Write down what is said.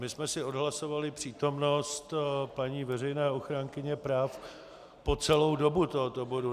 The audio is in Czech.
My jsme si odhlasovali přítomnost paní veřejné ochránkyně práv po celou dobu tohoto bodu.